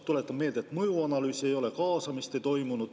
Tuletan meelde, et mõjuanalüüsi ei ole, kaasamist ei toimunud.